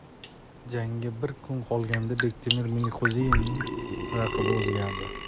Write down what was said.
Jangga bir kun qolganda Bektemir Meliqo‘ziyevning raqibi o‘zgardi.